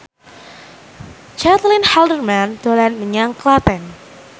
Caitlin Halderman dolan menyang Klaten